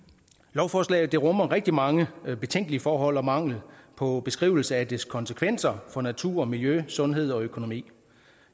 lovforslaget rummer rigtig mange betænkelige forhold og mangel på beskrivelse af dets konsekvenser for naturen og miljøet og sundheden og økonomien